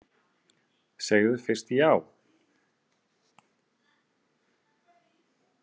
Segðu fyrst já!